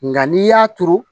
Nka n'i y'a turu